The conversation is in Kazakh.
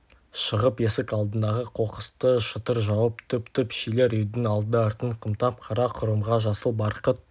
шығып есік алдындағы қоқысты шытыр жауып түп-түп шилер үйдің алды-артын қымтап қара құрымға жасыл барқыт